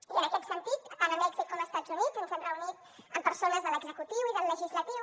i en aquest sentit tant a mèxic com a estats units ens hem reunit amb persones de l’executiu i del legislatiu